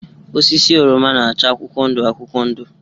Osisi oroma na-acha akwụkwọ ndụ akwụkwọ ndụ